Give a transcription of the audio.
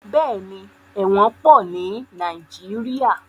Bẹ́ẹ̀ni, ẹ̀wọ̀n pọ̀ ní Nàìjíríà.